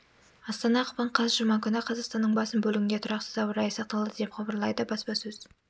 астана ақпан қаз жұма күні қазақстанның басым бөлігінде тұрақсыз ауа райы сақталады деп хабарлайды баспасөз